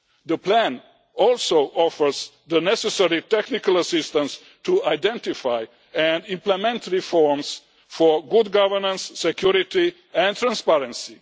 the plan also offers the necessary technical assistance to identify and implement reforms for good governance, security and transparency.